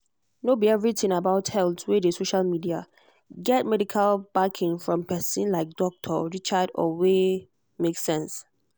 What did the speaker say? no be everything about health wey dey social media get medical backing from person like doctor richard or wey make sense.